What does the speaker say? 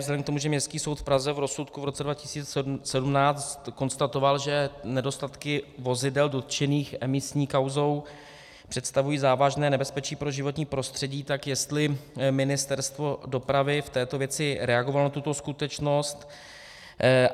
Vzhledem k tomu, že Městský soud v Praze v rozsudku v roce 2017 konstatoval, že nedostatky vozidel dotčených emisní kauzou představují závažné nebezpečí pro životní prostředí, tak jestli Ministerstvo dopravy v této věci reagovalo na tuto skutečnost?